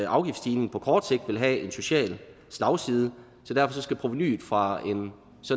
afgiftsstigning på kort sigt vil have en social slagside så derfor skal provenuet fra